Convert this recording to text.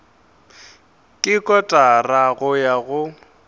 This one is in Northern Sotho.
ke kotara go ya go